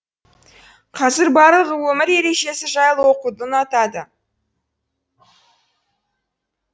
қазір барлығы өмір ережесі жайлы оқуды ұнатады